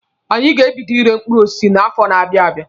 Anyị ga-ebido ire mkpụrụ osisi n'afọ na-abịa abịa.